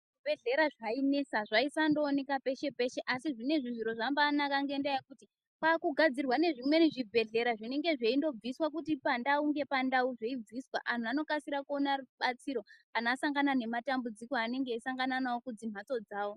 Zvi bhedhlera zvainesa zvaisando oneka peshe peshe asi zvinezvi zviro zvambai naka ngenda yekuti kwaku gadzirwa nezvimweni zvi bhedhlera zvinenge zveindo biswa kuti pa ndau nepa ndau zvei bviswa anhu anokasira kuona rubatsiro kana asangana ne matambudziko anenge eyi sangana nawo kudzi mhatso dzavo.